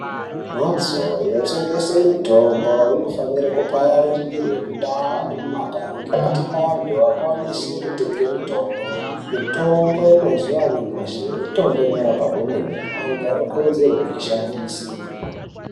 Mbatso ino tengese mutombo ino fanire ku pararire mu ndau nemu magange kuti anhu akwanise kutenge mitombo mutombo mazuva anyamashi mitombo inorapa kwemene antu ano kurudzirwe kuyi shandise.